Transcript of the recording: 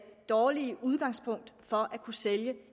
dårligt udgangspunkt for at kunne sælge